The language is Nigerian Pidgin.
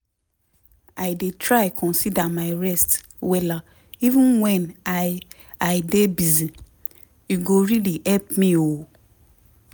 plenty things dey wey peson dey gain if e dey include ways to dey chillax inside di things wey im dey do everyday.